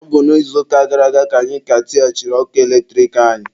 Ọ bụ n'izuụka gara aga ka anyị ka tighachiri ọkụ eletrik anyị